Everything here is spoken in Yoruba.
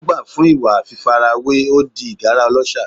Ó gbà fún ìwà fífarawé, ó di ìgárá ọlọ́ṣà.